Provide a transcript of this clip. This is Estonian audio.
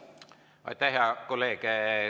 Aitäh, hea kolleeg!